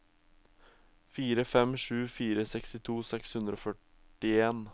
fire fem sju fire sekstito seks hundre og førtien